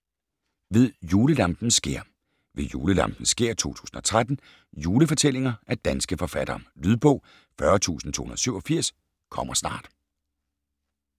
Ved julelampens skær: Ved julelampens skær 2013 Juelfortællinger af danske forfattere. Lydbog 40287 - kommer snart